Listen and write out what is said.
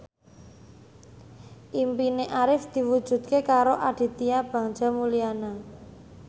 impine Arif diwujudke karo Aditya Bagja Mulyana